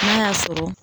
N'a y'a sɔrɔ